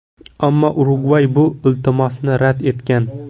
Ammo Urugvay bu iltimosni rad etgan.